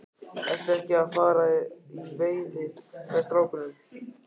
Ertu ekki að fara í veiði með strákunum?